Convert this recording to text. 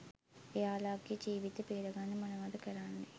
එයාලගෙ ජීවිත බේරගන්න මොනවද කරන්නෙ